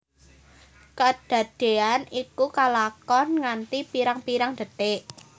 Kadadéyan iku kalakon nganti pirang pirang detik